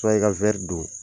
Cɛrno i ka wɛri don